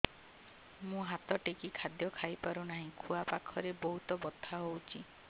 ମୁ ହାତ ଟେକି ଖାଦ୍ୟ ଖାଇପାରୁନାହିଁ ଖୁଆ ପାଖରେ ବହୁତ ବଥା ହଉଚି